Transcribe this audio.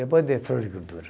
Depois de floricultura.